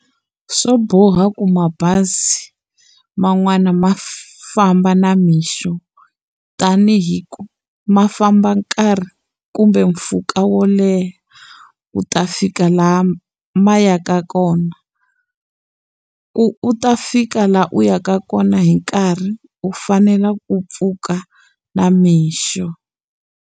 Swo boha ku mabazi man'wani ma famba na mixo tanihi ku ma famba nkarhi kumbe mpfhuka wo leha, ku ta fika laha ma yaka kona. Ku u ta fika laha u yaka kona hi nkarhi u fanela ku pfuka na mixo.